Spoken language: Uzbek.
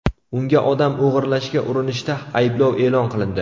Unga odam o‘g‘irlashga urinishda ayblov e’lon qilindi.